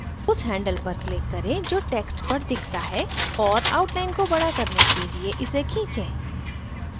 उस handle पर click करें जो text पर दिखता है और outline को बड़ा करने के लिए इसे खींचें